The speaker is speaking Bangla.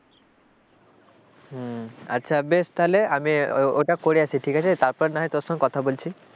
হম আচ্ছা বেশ তাহলে ওটা করে আসি ঠিক আছে তারপরে না হয় তোর সঙ্গে কথা বলছি।